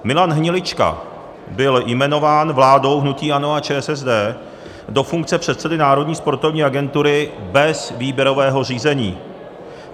Milan Hnilička byl jmenován vládou hnutí ANO a ČSSD do funkce předsedy Národní sportovní agentury bez výběrového řízení.